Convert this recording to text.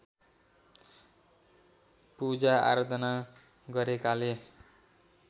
पूजा आराधना गरेकाले